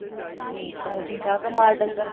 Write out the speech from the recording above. ਹਮ ਸਭ ਠੀਕ ਠਾਕ ਆ ਮਾਲ ਡੰਗਰ?